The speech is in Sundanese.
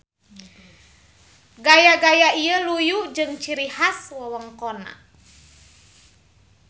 Gaya-gaya ieu luyu jeung ciri has wewengkonna.